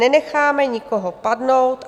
Nenecháme nikoho padnout.